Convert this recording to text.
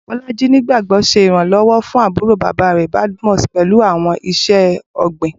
Bolaji nigbagbogbo ṣe iranlọwọ fun aburo baba rẹ, Badmus, pẹlu awọn iṣẹ-ogbin.